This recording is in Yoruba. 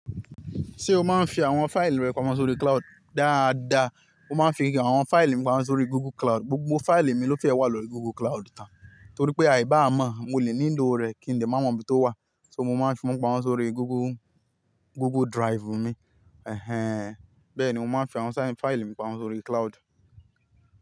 Ṣé o máa ń fi àwọn fáìlì rẹ pamọ́ sórí cloud? Dáadáa, mo máa ń fi àwọn fáìlì mi pamọ́ sórí Google Cloud. Gbogbo fáìlì mi ló fẹ́ wà lóri Google Cloud tán torí pé àì bá mọ̀ mo lè níń lọ rẹ̀ kí n lè mọ ibi tó wà. So mo máa ń fi wọn pamọ́ sórí Google, Google Drive mi. Ẹ̀hẹn. Bẹ́ẹ̀ ni mo máa ń fi àwọn fáìlì mi pamọ́ sórí cloud.